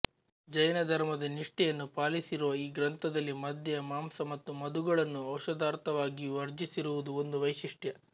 ಜೈನಧರ್ಮದ ನಿಷ್ಠೆಯನ್ನು ಪಾಲಿಸಿರುವ ಈ ಗ್ರಂಥದಲ್ಲಿ ಮದ್ಯ ಮಾಂಸ ಮತ್ತು ಮಧುಗಳನ್ನು ಔಷಧಾರ್ಥವಾಗಿಯೂ ವರ್ಜಿಸಿರುವುದು ಒಂದು ವೈಶಿಷ್ಟ್ಯ